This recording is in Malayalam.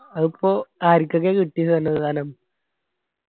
അതിപ്പോ ആരിക്കൊക്കെ കിട്ടി ദാനം